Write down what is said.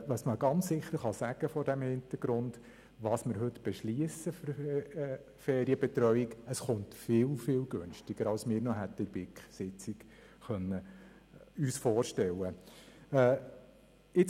Was man vor diesem Hintergrund sicher sagen kann: Was auch immer wir heute für die Ferienbetreuung beschliessen, es wird sehr viel günstiger, als wir es uns in der BiK-Sitzung hätten vorstellen können.